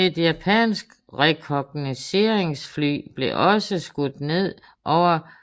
Et japansk rekognosceringsfly blev også skudt ned over